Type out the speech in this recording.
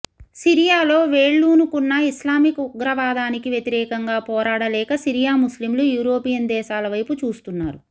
సిరియాలో వేళ్లూనుకున్న ఇస్లామిక్ ఉగ్రవాదానికి వ్యతిరేకంగా పోరాడలేక సిరియా ముస్లింలు యూరోపియన్ దేశాల వైపు చూస్తున్నారు